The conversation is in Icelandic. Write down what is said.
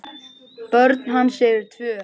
Börn hans eru tvö.